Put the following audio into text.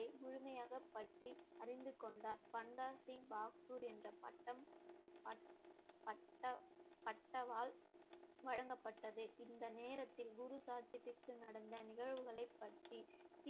முழுமையாக பற்றி அறிந்து கொண்டார் பண்டா சிங் பகதூர் என்ற பட்டம் பட்~ பட்ட~ பட்டவாள் வழங்கப்பட்டது இந்த நேரத்தில் குரு சாட்சி பெற்று நடந்த நிகழ்வுகளை பற்றி